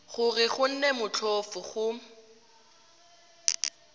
gore go nne motlhofo go